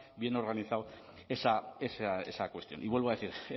bien organizado esa cuestión y vuelvo a decir